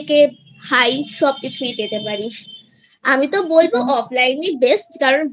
high সব কিছুই পেতে পারিস আমি তো বলবো offline ই best কারণ